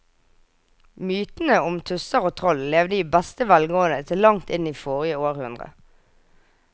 Mytene om tusser og troll levde i beste velgående til langt inn i forrige århundre.